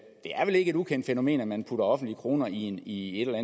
er vel ikke et ukendt fænomen at man putter offentlige kroner i i et eller